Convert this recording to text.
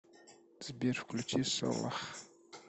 сбер включи солах